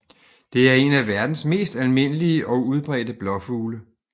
Det er en af verdens mest almindelige og udbredte blåfugle